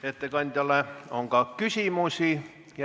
Ettekandjale on ka küsimusi.